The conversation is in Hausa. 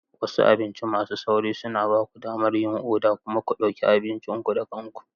Wasu abinci masu sauri suna ba ku damar yin oda kuma ku ɗauki abincin ku da kanku.